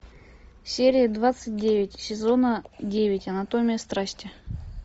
серия двадцать девять сезона девять анатомия страсти